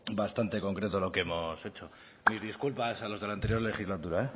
bastante concreto lo que hemos hecho mis disculpas a los de la anterior legislatura